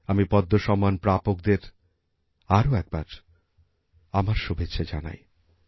আমি পদ্ম সম্মান প্রাপকদের আরো একবার আমার শুভেচ্ছা জানাই